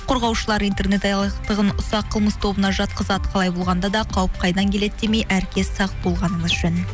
қорғаушылар интернет алаяқтығын ұсақ қылмыс тобына жатқызады қалай болғанда да қауіп қайдан келеді демей әркез сақ болғаныңыз жөн